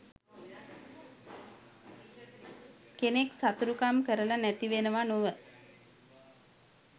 කෙනෙක් සතුරුකම් කරලා නැතිවෙනවා නොව